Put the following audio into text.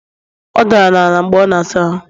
Ọ dara n'ala mgbe ọ na-asa ahụ